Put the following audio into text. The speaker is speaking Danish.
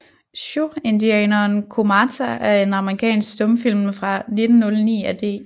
Siouxindianeren Comata er en amerikansk stumfilm fra 1909 af D